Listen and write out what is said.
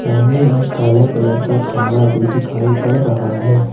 सामने एक काला कलर का खंबा भी दिखाई पड़ रहा है।